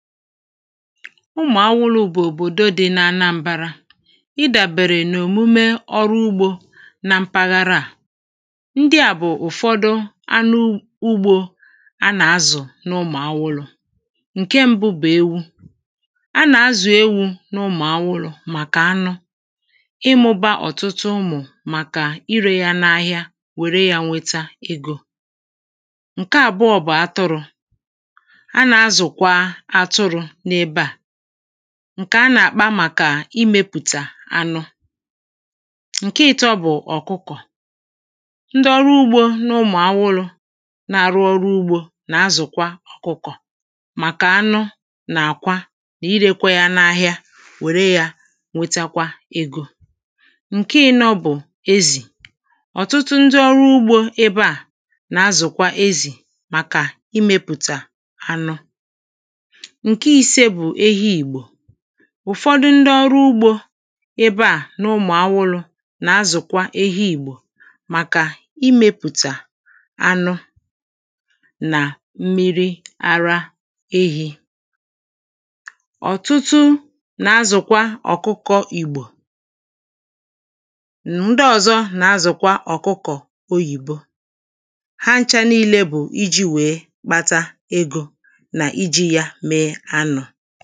Ụmụ̀awụlụ̄ bụ̀ òbòdo dị na anambārā Ịdàbèrè n’òmume ọrụ ugbō na mpaghara à Ndị à bụ̀ ụ̀fọdụ anụ ugbō a nà-azụ̀ n’ụmụ̀awụlụ̄ Ǹke m̄bụ̄ bụ̀ ewu. A nà-azụ̀ ewū n’ụmụ̀awụlụ̄ màkà anụ ịmụ̄bā ọ̀tụtụ ụmụ̀ màkà irē yā n’āhịā màkà inwētē egō Ǹke àbụọ̄ bụ̀ atụrụ̄ A nà-azụ̀kwa atụrụ̄ n’ebe à, ǹkè a nà-àkpa màkà imēpụ̀tà anụ Ǹke ị̄tọ̄ bụ̀ ọ̀kụkọ̀ Ndị ọrụ ugbō n’ụmụ̀awụlụ̄ nà-àrụ ọrụ ugbō na-azụ̀kwa ọkụkụ̀ màkà anụ nà àkwa nà irēkwā yā n’āhịā, wère yā nwetakwa egō Ǹke ị̄nọ̄ bụ̀ ezì Ọ̀tụtụ ndị ọrụ ugbō ebeà nà-azụ̀kwa ezì màkà imēpùtà anụ Ǹke ise bụ̀ ehi Ìgbò ùfọdụ ndị ọrụ ugbō ebeà n’ụmụ̀alụwụ̄ nà-azụ̀kwa ehi Ìgbò màkà imēpụ̀tà anụ nà m̀miri ara ehī Ọ̀tụtụ nà-azụ̀kwa ọ̀kụkọ̄ Ìgbò Ndị ọ̀zọ nà-azụ̀kwa ọ̀kụkọ̀ oyìbo Há n̄chā liīlē bụ̀ ijī wèe kpata egō nà ijī yā mee anụ̄